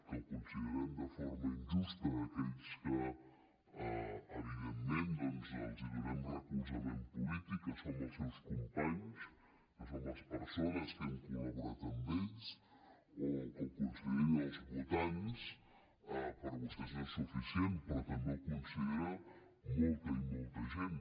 que ho considerem de forma injusta aquells que evidentment doncs els donem recolzament polític que som els seus companys que som les persones que hem col·laborat amb ells o que ho considerin els votants per vostès no és suficient però també ho considera molta i molta gent